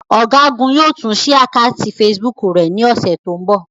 Ọ̀gágun yóò tún ṣí àkátì Facebook rẹ̀ ní ọ̀sẹ̀ tó ń bọ̀.